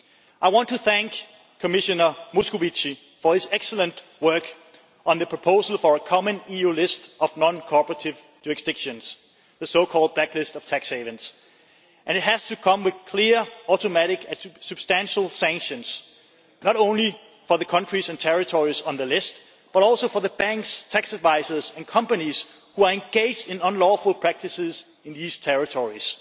I want to thank Commissioner Moscovici for his excellent work on the proposal for a common EU list of non-cooperative jurisdictions, the so called blacklist of tax havens, and it has to come with clear, automatic and substantial sanctions, not only for the countries and territories on the list, but also for the banks, tax advisers and companies who are engaged in unlawful practices in these territories.